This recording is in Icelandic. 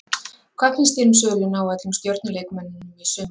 Hvað finnst þér um söluna á öllum stjörnu leikmönnunum í sumar?